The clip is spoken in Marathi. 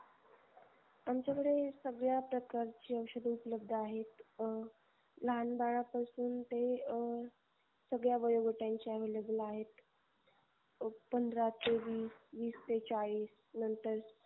आमच्याकळे सगळ्या प्रकारचे औषध उपलब्ध आहे. अह लहान बाळा पासून ते अह सगळ्या वयोगटांची available आहेत. पंधरा ते वीस, वीस ते चाळीस नंतर